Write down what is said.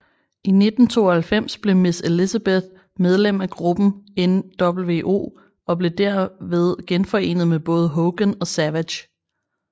I 1997 blev Miss Elizabeth medlem af gruppen nWo og blev derved genforenet med både Hogan og Savage